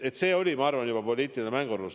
See oli, ma arvan, juba poliitiline mängurlus.